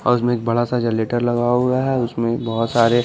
और उसमें एक बड़ा सा जनरेटर लगा हुआ है उसमें बहुत सारे --